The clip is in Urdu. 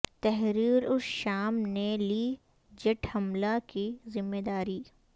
تحریر الشام نے لی جیٹ حملہ کی ذمہ داری